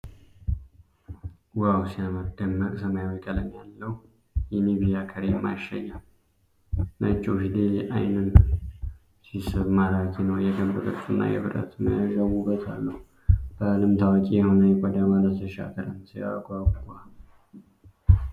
ዋው ሲያምር! ደማቅ ሰማያዊ ቀለም ያለው የኒቪያ ክሬም ማሸጊያ። ነጭው ፊደል ዓይንን ሲስብ፣ ማራኪ ነው። የክብ ቅርፁና የብረት መያዣው ውበት አለው። በዓለም ታዋቂ የሆነ የቆዳ ማለስለሻ ክሬም። ሲያጓጓ!